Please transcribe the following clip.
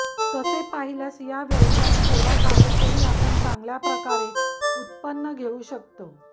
तसे पाहिल्यास या व्यवसायात थोड्या जागेतही आपण चांगल्या प्रकारे उत्पन्न घेऊ शकतो